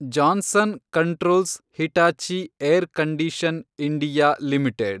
Johnson controls Hitachi air condition. India limited